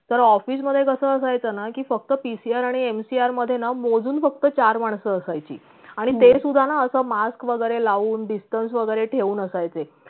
तर office मधे कस असायचंना की फक्त pcr आणि mcr मधेना मोजून फक्त चार मानस असायची आणि ते सुद्धा ना अस mask वैगरे लावून distance वैगरे ठेऊन असायची